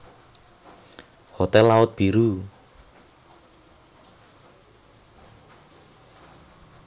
Hotel Laut Biru